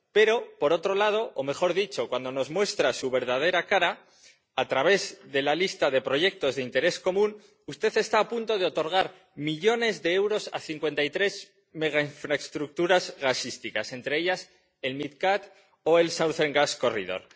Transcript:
Pero, por otro lado —o, mejor dicho, cuando nos muestra su verdadera cara a través de la lista de proyectos de interés común— usted está a punto de otorgar millones de euros a cincuenta y tres megainfraestructuras gasísticas, entre ellas el MidCat o el Southern Gas Corridor.